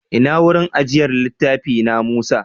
Ina wurin ajiyar littafi, na Musa?